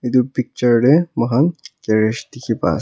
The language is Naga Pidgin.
itu picture te moihan garage dikhi pai ase--